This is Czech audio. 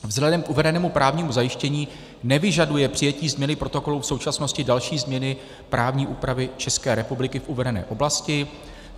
Vzhledem k uvedenému právnímu zajištění nevyžaduje přijetí změny protokolu v současnosti další změny právní úpravy České republiky v uvedené oblasti.